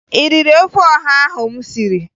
Ị riri ofe ọha ahụ m siri?